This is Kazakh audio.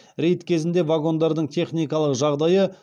рейд кезінде вагондардың техникалық жағдайы